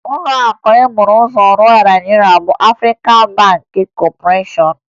Ụlọakụ e buru ụzọ rụọ na Naịjirịa bụ Afrịkan Bankịn Kọpọreshọn